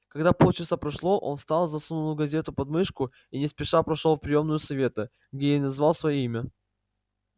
когда полчаса прошло он встал засунул газету подмышку и не спеша прошёл в приёмную совета где и назвал своё имя